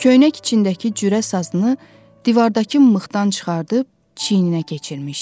Köynək içindəki cürə sazını divardakı mıxdan çıxarıb çiyninə keçirmişdi.